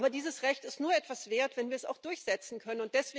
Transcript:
Aber dieses Recht ist nur etwas wert, wenn wir es auch durchsetzen können.